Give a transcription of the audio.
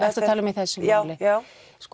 að tala um í þessu máli já